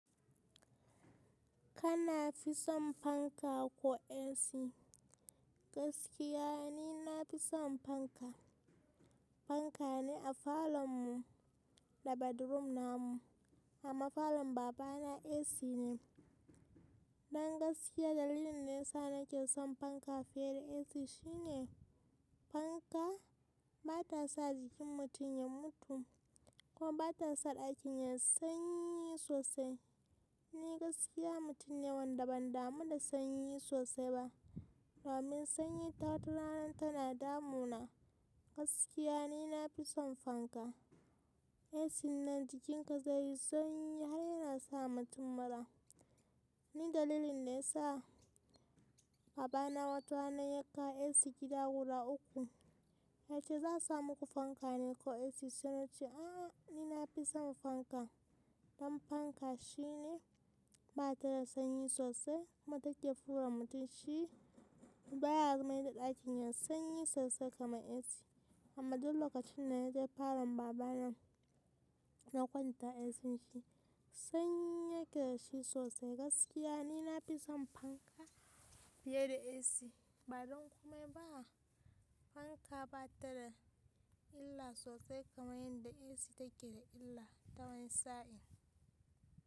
Kana fi son fanka ko AC? Gaskiya ni nafi son fanka. Fanka ne a falon mu da bedroom namu amma falon babana AC ne. Dan gaskiya dalilin de yasa nake son fanka fiye da AC shine fanka bata sa jikin mutum ya mutu koma bata sa ɗakin yai sanyi sosai. Ni gaskiya mutum ne wanda ban damu da sanyi sosai ba, domin sanyi ta wata rana tana damu na. Gaskiya ni nafi son fanka. AC nan jikinka zai yi sanyi har yana sa mutum mara. Ni dalilin de yasa babana wata rana ya kawo AC gida gura ukku. Yace za a sa muku fanka ne ko AC? Sai nace um um ni nafi son fanka. Don fanka shine bata da sanyi sosai kuma take fure mutum shi baya mai da ɗakin ya sanyi sosai kamar AC. Amma dul lokacin da naje falon babana na kwanta AC shi sanyi yake da shi sosai. Gaskiya ni nafi son fanka fiye da AC. Ba don komai ba fanka bata da illa sosai kamar yadda AC take da illa ta wani sa’in.